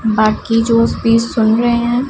बाकी जो स्पीच सुन रहे है।